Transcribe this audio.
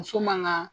Muso man ka